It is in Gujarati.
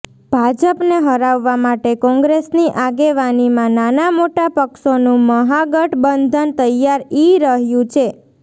ભાજપને હરાવવા માટે કોંગ્રેસની આગેવાનીમાં નાના મોટા પક્ષોનું મહાગઠબંધન તૈયાર ઈ રહ્યું છે